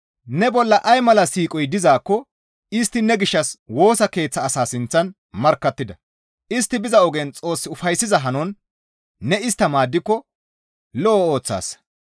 Ne bolla ay mala siiqoy dizaakko istti ne gishshas Woosa Keeththa asaa sinththan markkattida; istti biza ogen Xoos ufayssiza hanon ne istta maaddiko lo7o ooththaasa.